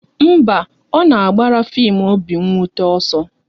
Mba, a na m agbara fim obi nwute ọsọ